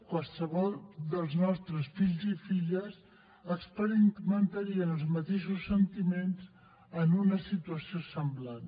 qualsevol dels nostres fills i filles experimentarien els mateixos sentiments en una situació semblant